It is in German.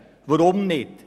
Weshalb dies?